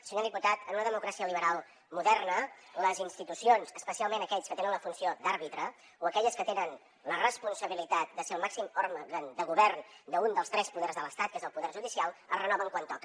senyor diputat en una democràcia liberal moderna les institucions especialment aquelles que tenen la funció d’àrbitre o a quelles que tenen la responsabilitat de ser el màxim òrgan de govern d’un dels tres poders de l’estat que és el poder judicial es renoven quan toca